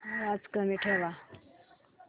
आवाज कमी ठेवा